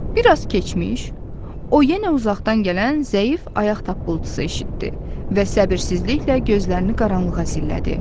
Bir az keçmiş, o yenə uzaqdan gələn zəif ayaq tappıltısı eşitdi və səbirsizliklə gözlərini qaranlığa zillədi.